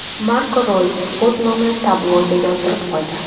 Marko Roys o‘z nomini tabloga yozdirib qo‘ydi.